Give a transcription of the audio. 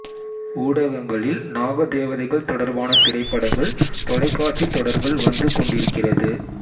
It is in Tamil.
ஊடகங்களில் நாக தேவதைகள் தொடர்பான திரைப்படங்கள் தொலைக்காட்சித் தொடர்கள் வந்து கொண்டிருக்கிறது